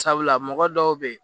Sabula mɔgɔ dɔw be yen